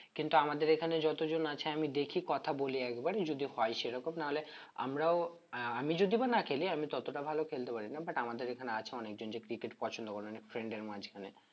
কিন্তু আমাদের এখানে যতজন আছে আমি দেখি কথা বলি একবার যদি হয় সেরকম নাহলে আমরাও আহ আমি যদি বা না খেলি আমি ততটা ভালো খেলতে পারি না but আমাদের এখানে আছে অনেকে যে cricket পছন্দ করে অনেক friend দের মাঝখানে